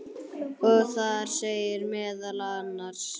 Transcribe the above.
og þar segir meðal annars